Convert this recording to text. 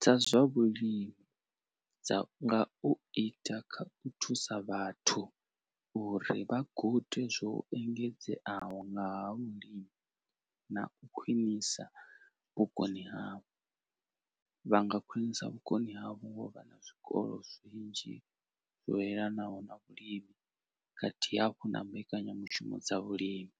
dza zwa vhulimi dza nga u ita kha u thusa vhathu uri vha gude zwo engedzeaho ngaha vhulimi na u khwinisa vhukoni havho vha nga khwinisa vhukoni havho ngo vha na zwikolo zwinzhi zwo yelanaho na vhulimi khathihi hafhu na mbekanyamushumo dza vhulimi.